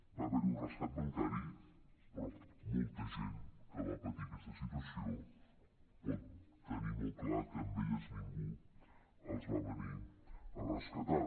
va haver hi un rescat bancari però molta gent que va patir aquesta situació pot tenir molt clar que a ells ningú els va venir a rescatar